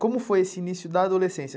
Como foi esse início da adolescência?